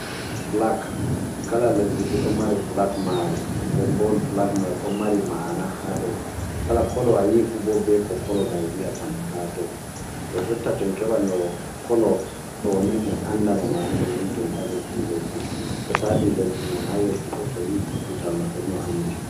"Filag" kala lesdi fuu ɗon mari "filag" maari, nden bo wol "flag" may ɗon mari "maana" ha dow. Kala "kolo" a yii fu bo bee ko "kolo" may wi'atama ha dow. Too jotta to en keɓan no kolo ɗoni en anda no maana may ni to en ƴami ɓii lesdi may. Jotta ha ɓii lesdi mai ha yehi fuu bo to yii tuutawal maɓɓe ni o anndi.